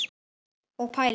Og pælir.